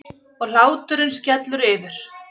Og hláturinn skellur yfir.